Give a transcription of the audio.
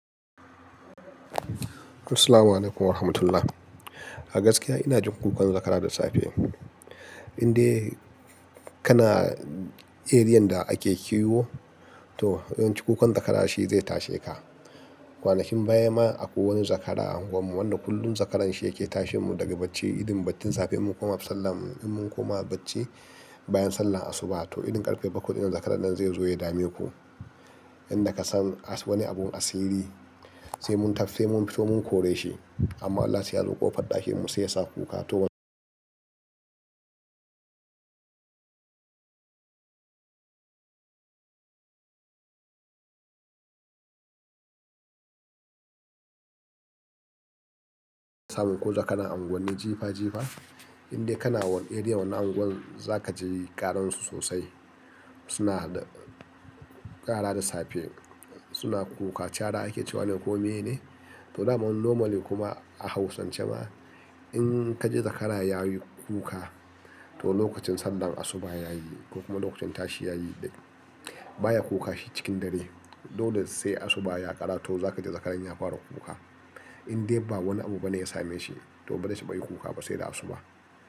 Assalamu alaikum wa rahmatullah. A gaskiya ina jin kukan zakara da safe. Inde kana, eriyan da ake kiwo, to yawanci kukan zakara shi zai tashi ka. Kwanakin baya ma akwai wani zakara a unguwarmu wanda kullum zakaran shi yake tashen mu daga bacci. Idan batin safe mun koma masallaci, idan mun koma bacci bayan sallar asuba to idan karfe bakwai zan karan nan zai zo ya dame ku. Inda ka san asu wani abu na sirri, sai mun tafsi mun fito mun kore shi. Amma Allah sai ya zo ƙofar ɗakin mu sai ya sa kuka. To wani lokacin ko da kana unguwanni jifa jifa, inda kana wani eriya wani unguwar za ka ji ƙarar su sosai. Suna da ƙara da safe suna kuka. Chara ake cewa ne ko mene? To dama normal ne kuma a hausance ma in ka ji zakara ya yi kuka to lokacin sallar asuba yayi ko kuma lokacin tashi yayi. Baya kuka shi cikin dare. Dole sai asuba ya ƙara to za ka ji zakaran ya fara kuka. Indai ba wani abu bane ya same shi to ba dai zai taba yin kuka ba sai da asuba.